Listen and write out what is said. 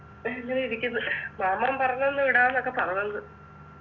അങ്ങനെയിരിക്കുന്നു മാമൻ പറഞ്ഞന്ന് വിടാംന്നൊക്കെ പറഞ്ഞങ്